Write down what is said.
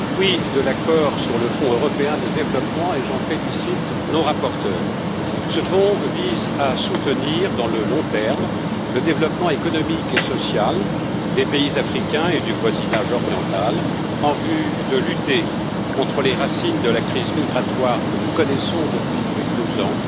Monsieur le Président, je me réjouis de l'accord sur le Fonds européen de développement et j'en félicite nos rapporteurs. Ce fonds vise à soutenir, à long terme, le développement économique et social des pays africains et du voisinage oriental en vue de lutter contre les causes de la crise migratoire que nous connaissons depuis plus de deux ans,